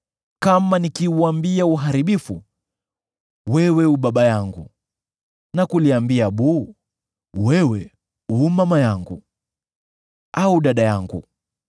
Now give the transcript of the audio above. kama nikiuambia uharibifu, ‘Wewe u baba yangu,’ na kuliambia buu, ‘Wewe u mama yangu’ au ‘Dada yangu,’